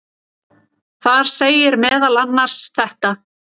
Þar segir meðal annars þetta: